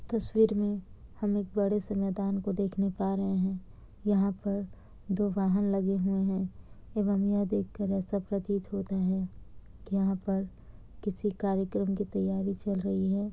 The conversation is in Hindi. तस्वीर में हम एक बड़े से मैदान को देखने पा रहे हैं। यहाँ पर दो वाहन लगे हुए हैं। एवं यह देखकर ऐसा प्रतीत होता है कि यहाँ पर किसी कार्यक्रम की तैयारी चल रही है।